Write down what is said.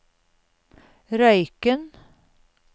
Røyken